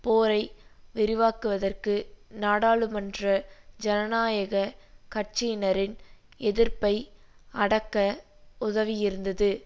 போரை விரிவாக்குவதற்கு நாடாளுமன்ற ஜனநாயக கட்சியினரின் எதிர்ப்பை அடக்க உதவியிருந்தது